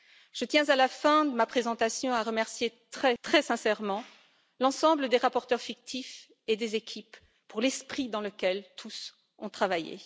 Je tiens, à la fin de ma présentation, à remercier très sincèrement l'ensemble des rapporteurs fictifs et des équipes pour l'esprit dans lequel tous ont travaillé.